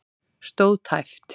Stóð tæpt